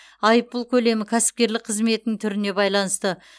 айыппұл көлемі кәсіпкерлік қызметінің түріне байланысты